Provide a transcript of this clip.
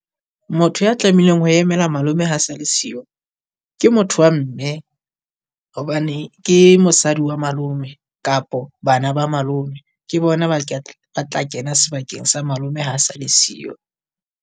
Motho ya tlameileng ho emela malome ha sa le siyo ke motho wa mme, hobane ke mosadi wa malome kapo bana ba malome. Ke bona ba tla ba tla kena sebakeng sa malome ha sa le siyo.